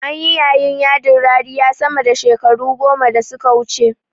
Anyi yayin yadi mai rariya sama da shekaru goma da suka wuce